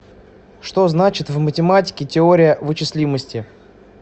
что значит в математике теория вычислимости